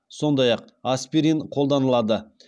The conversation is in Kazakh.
сондай ақ аспирин қолданылады